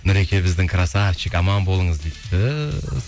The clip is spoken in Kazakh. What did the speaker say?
нұреке біздің красавчик аман болыңыз дейді түһ